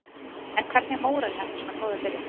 En hvernig er mórallinn eftir svona góða byrjun?